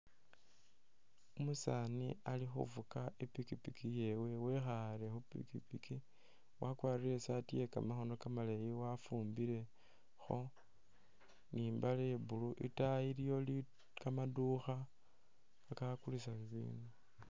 Umusaani ali fuga i'pikipiki yewe wekhale khupikipiki wakwalire i'saati yekamakhoono kamaleyi wafumbilekho ni mbaale ya blue itaayi iliyo kamadukha kakakulisa bibindu